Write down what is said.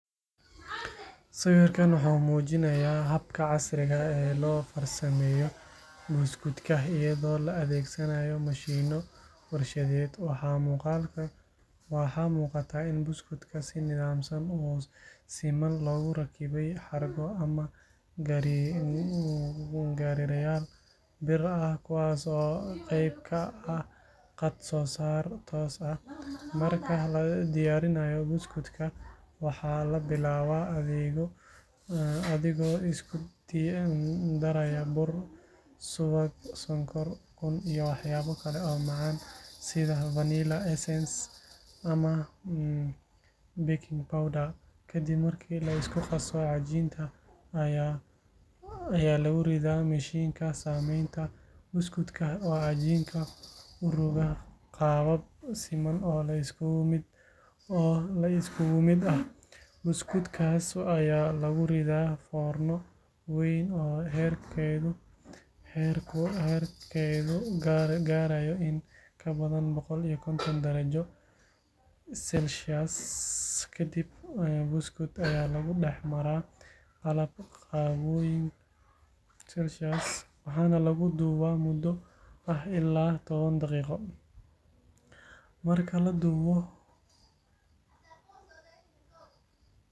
Sawirkan wuxuu muujinayaa habka casriga ah ee loo farsameeyo buskudka iyadoo la adeegsanayo mashiinno warshadeed. Waxaa muuqata in buskudka si nidaamsan oo siman loogu rakibay xargo ama gariirayaal bir ah kuwaas oo qayb ka ah khad-soo-saar toos ah. Marka la diyaarinayo buskudka, waxaa la bilaabaa adigoo isku daraya bur, subag, sonkor, ukun iyo waxyaabo kale oo macaan sida vanilla essence ama baking powder. Ka dib markii la isku qaso, cajiinka ayaa lagu ridaa mashiinka samaynta buskudka oo cajiinka u roga qaabab siman oo la iskugu mid ah. Buskudkaas ayaa lagu riddaa foorno weyn oo heerkulkeedu gaarayo in ka badan boqol iyo konton darajo Celsius waxaana lagu dubaa muddo ah ilaa toban daqiiqo. Marka la dubo.